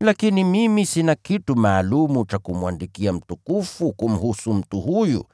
Lakini mimi sina kitu maalum cha kumwandikia Bwana Mtukufu kumhusu mtu huyu.